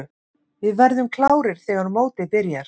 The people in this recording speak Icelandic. Við verðum klárir þegar mótið byrjar.